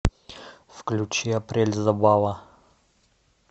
включи апрель забава